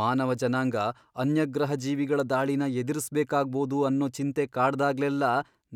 ಮಾನವ ಜನಾಂಗ ಅನ್ಯಗ್ರಹಜೀವಿಗಳ ದಾಳಿನ ಎದುರಿಸ್ಬೇಕಾಗ್ಬೋದು ಅನ್ನೋ ಚಿಂತೆ ಕಾಡ್ದಾಗ್ಲೆಲ್ಲ